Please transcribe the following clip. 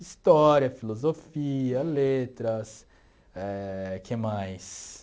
História, filosofia, letras...Éh que mais?